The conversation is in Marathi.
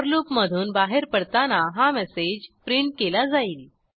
फोर लूप मधून बाहेर पडताना हा मेसेज प्रिंट केला जाईल